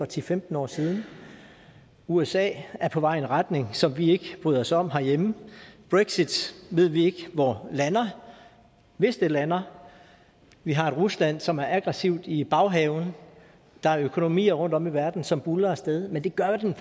til femten år siden usa er på vej i en retning som vi ikke bryder os om herhjemme brexit ved vi ikke hvor lander vi lander vi har et rusland som er aggressivt i baghaven der er økonomier rundtom i verden som buldrer af sted men det gør den